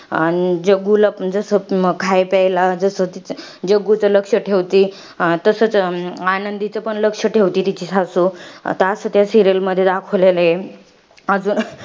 आणि जग्गुला पण जसं खाय प्यायला जसं, ती जग्गुचं लक्ष ठेवती, तसचं आनंदीच पण लक्ष ठेवते तिची सासू. आता असं त्या serial मध्ये दाखवलेलं आहे. अजून,